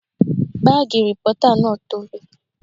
Bààgì rìpọ́tà náà tobi